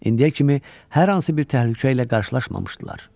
İndiyə kimi hər hansı bir təhlükə ilə qarşılaşmamışdılar.